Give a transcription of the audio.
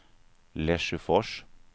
Lesjöfors